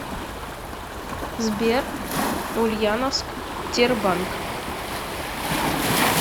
сбер ульяновск тербанк